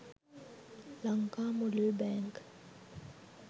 lanka model bank